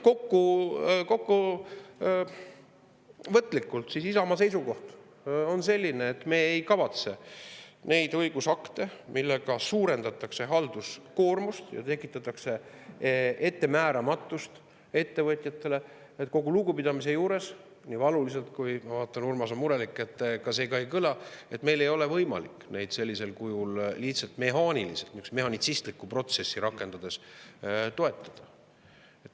Kokkuvõtlikult on Isamaa seisukoht selline, et me ei kavatse neid õigusakte, millega suurendatakse halduskoormust ja tekitatakse ettemääramatust ettevõtjatele, kogu lugupidamise juures, nii valuliselt – ma vaatan, Urmas on murelik – kui see see ka ei kõla, toetada, meil ei ole võimalik neid sellisel kujul lihtsalt mehaaniliselt, mehhanitsistlikku protsessi rakendades toetada.